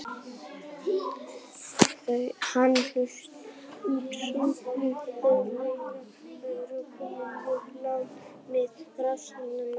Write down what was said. Hann útskýrði að þeir væru komnir mjög langt með rannsókn málsins.